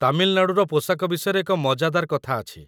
ତାମିଲନାଡ଼ୁର ପୋଷାକ ବିଷୟରେ ଏକ ମଜାଦାର କଥା ଅଛି